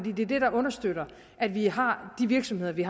det er det der understøtter at vi har de virksomheder vi